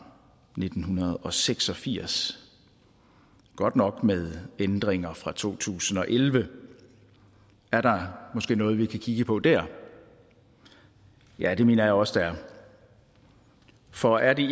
nitten seks og firs godt nok med ændringer fra to tusind og elleve er der måske noget vi kan kigge på der ja det mener jeg også der er for er det